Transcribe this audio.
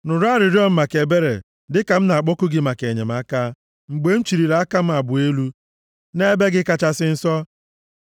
Nụrụ arịrịọ m maka ebere dịka m na-akpọku gị maka enyemaka, mgbe m chịlịri aka m abụọ elu nʼEbe gị Kachasị Nsọ.